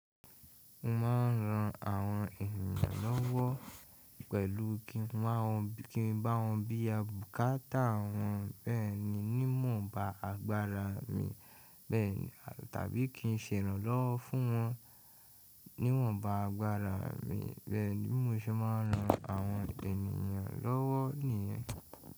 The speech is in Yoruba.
Mo ma n ran àwọn ènìyàn lówó pẹ̀lú kí n máa bá wọn bí ya bùkátà wọn bẹ́ẹ̀ ni ní wò ń ba agbára mi bẹ́ẹ̀ tàbí kí n sèránlọ́wọ́ fún wọn níwọ̀n ba agbára mi bẹ́ẹ̀ ni mó ṣe ma n ran àwọn ènìyàn lówó nìyẹn.